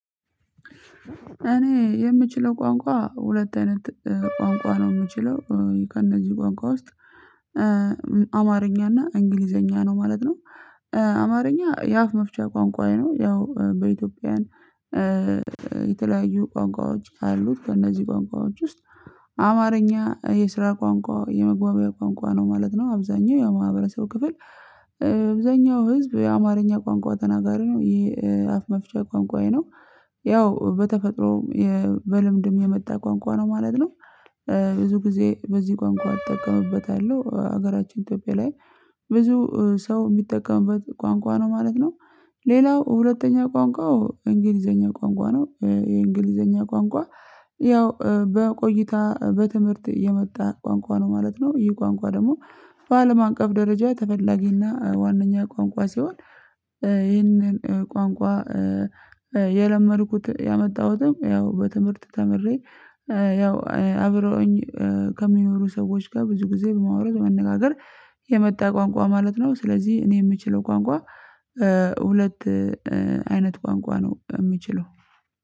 እኔ የምችለው ቋንቋ ሁለት አይነት ቋንቋ ነው የምችለው ከእነዚህ ቋንቋ ውስጥ አማርኛ እና እንግሊዘኛ ነው ማለት ነው አማርኛ የአፍ መፍቻ ቋንቋዬ ነው ያው በኢትዮጵያውያን የተለያዩ ቋንቋዎች አሉት ከእነዚህ ቋንቋዎች ውስጥ አማርኛ የስራ ቋንቋ የመግባቢያ ቋንቋ ነው ማለት ነው አብዛኛው የማህበረሰብ ክፍል አብዛኛው ህዝብ የአማርኛ ቋንቋ ተናጋሪ ነው ይሄ የአፍ መፍቻ ቋንቋዬ ነው ያው በተፈጥሮ በልምድም የመጣ ቋንቋ ነው ማለት ነው ብዙ ጊዜ በዚህ ቋንቋ አጠቀምበታለሁ ሀገራችን ኢትዮጵያ ላይ ብዙ ሰው የሚጠቀምበት ቋንቋ ነው ማለት ነው ሌላው ሁለተኛ ቋንቋው እንግሊዘኛ ቋንቋ ነው የእንግሊዘኛ ቋንቋ ያው በቆይታ በትምህርት የመጣ ቋንቋ ነው ማለት ነ፤ ይህ ቋንቋ ደግሞ በአለም አቀፍ ደረጃ ተፈላጊና ዋነኛ ቋንቋ ሲሆን ይህንን ቋንቋ የለመድኩት ያመጣሁትም ያው በትምህርት ተምሬ ያው አብረውኝ ከሚኖሩ ሰዎች ጋር ብዙ ጊዜ በማውራት በ መነጋገር የመጣ ቋንቋ ማለት ነው ስለዚህ እኔ የምችለው ቋንቋ ሁለት አይነት ቋንቋ ነው የምችለው።